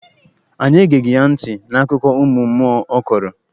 Anyị egeghị ya ntị n'akụkọ ụmụ mmụọ ọ kọrọ.